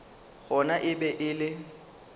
gona e be e le